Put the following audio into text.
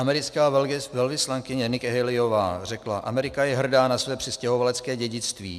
Americká velvyslankyně Nikki Haleyová řekla: Amerika je hrdá na své přistěhovalecké dědictví.